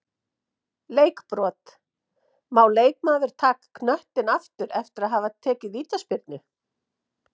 Leikbrot-Má leikmaður taka knöttinn aftur eftir að hafa tekið vítaspyrnu?